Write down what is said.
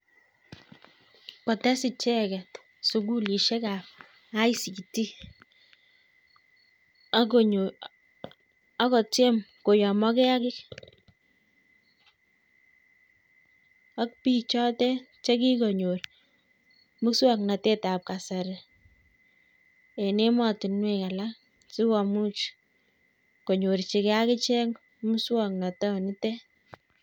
Kotes icheket sukulishek ab cs[ict]cs akoteam koyamokei AK bik choten chekikonyor muswaknatet ab kasari eng ematinwek alak chekikomuch konyorchikei akichek muswaknatok niten